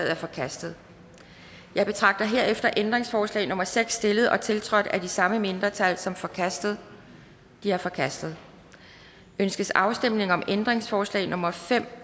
er forkastet jeg betragter herefter ændringsforslag nummer seks stillet og tiltrådt af de samme mindretal som forkastet det er forkastet ønskes afstemning om ændringsforslag nummer fem